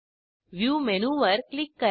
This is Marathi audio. व्ह्यू मेनूवर क्लिक करा